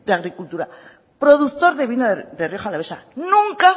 agricultura productor de vino de rioja alavesa nunca